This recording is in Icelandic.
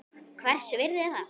Hvers virði er það?